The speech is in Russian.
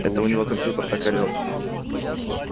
это у него компьютер так орет